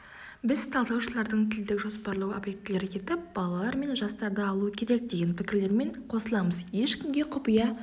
біз талдаушылардың тілдік жоспарлау объектілері етіп балалар мен жастарды алу керек деген пікірлерімен қосыламыз ешкімге құпия